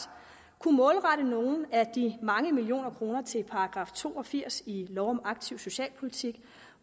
målrette nogle af de mange millioner kroner til § to og firs i lov om aktiv socialpolitik